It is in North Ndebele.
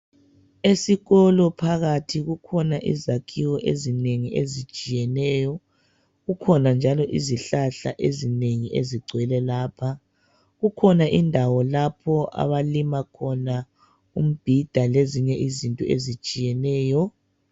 Esikolo phakathi kukhona izakhiwo ezinengi ezitshiyeneyo. Kukhona njalo izihlahla ezinengi ezigcwele lapha. Kukhona indawo lapho abalima khona umbhida lezinye izinto ezitshiyeneyo.